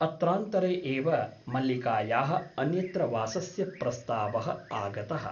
अत्रान्तरे एव मल्लिकायाः अन्यत्र वासस्य प्रस्तावः आगतः ।